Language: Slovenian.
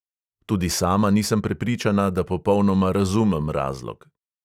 Tudi sama nisem prepričana, da popolnoma razumem razlog.